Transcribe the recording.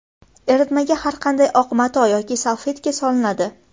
Eritmaga har qanday oq mato yoki salfetka solinadi.